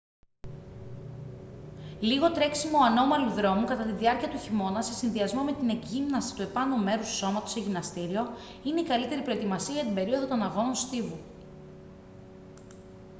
λίγο τρέξιμο ανώμαλου δρόμου κατά τη διάρκεια του χειμώνα σε συνδυασμό με την εκγύμναση του επάνω μέρους του σώματος σε γυμναστήριο είναι η καλύτερη προετοιμασία για την περίοδο των αγώνων στίβου